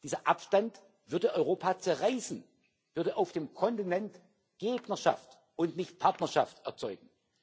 Dieser Abstand würde Europa zerreißen, würde auf dem Kontinent Gegnerschaft und nicht Partnerschaft erzeugen.